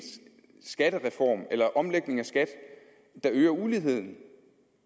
omlægning af skat der øger uligheden